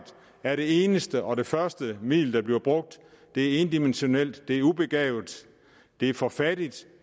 er det eneste og det første middel der bliver brugt det er endimensionelt det er ubegavet det er for fattigt